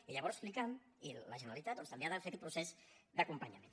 i llavors l’icam i la generalitat doncs també han de fer aquest procés d’acompanyament